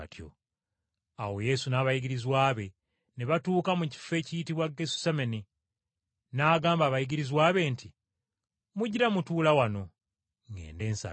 Awo Yesu n’abayigirizwa be ne batuuka mu kifo ekiyitibwa Gesusemane, n’agamba abayigirizwa be nti, “Mugira mutuula wano, ŋŋende nsabe.”